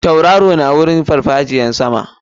Tauraro na wajen farfajiyar sama.